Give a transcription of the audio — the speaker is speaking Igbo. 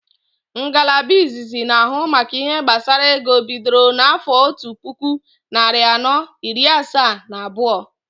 Ngalaba izizi na ahụ maka ihe gbasara ego bidoro na afo ọtu puku narị anọ iri asaa na abuo